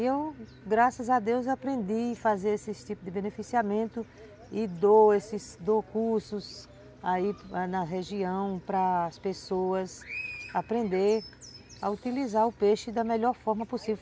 Eu, graças a Deus, aprendi a fazer esse tipo de beneficiamento e dou esses, dou cursos aí na região para as pessoas aprenderem a utilizar o peixe da melhor forma possível.